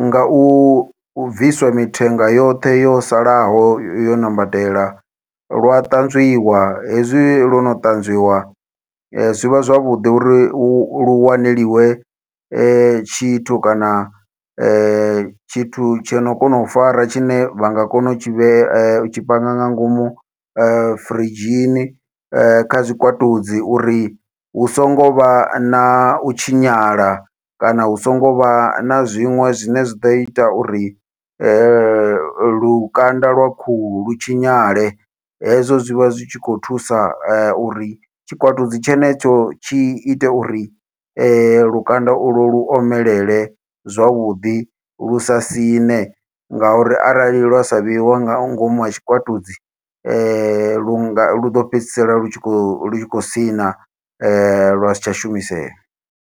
ngau bviswa mithenga yoṱhe yo salaho yo ṋambatela lwa ṱanzwiwa, hezwi lwo no ṱanzwiwa zwivha zwavhuḓi uri hu lu wanelwe tshithu kana tshithu tshono kona u fara, tshine vha nga kona u tshi vhe utshi panga nga ngomu firidzhini kha zwikwatudzi uri hu songo vha nau tshinyala kana hu songo vha na zwiṅwe zwine zwa ḓo ita uri lukanda lwa khuhu lu tshinyale. Hezwo zwi vha zwi tshi khou thusa uri tshikwatudzi tshenetsho tshi ite uri lukanda ulwo lu omelele, zwavhuḓi lusa siṋe ngauri arali lwa sa vheiwa nga ngomu ha tshikwatudzi lunga luḓo fhedzisela lu khou lu khou siṋa lwasi tsha shumisea.